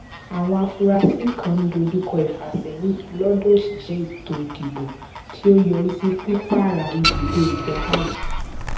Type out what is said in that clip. àwọn afurasí kan ń dojúkọ ìfàsẹyìn lọdọ òṣìṣẹ ètò ìdìbò tí ó yọrí sí pípààrà ìbùdó ìgbakáàdì